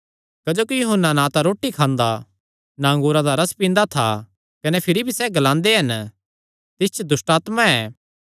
क्जोकि यूहन्ना ना तां रोटी खांदा ना अंगूरा दा रस पींदा था कने भिरी भी सैह़ ग्लांदे हन तिस च दुष्टआत्मा ऐ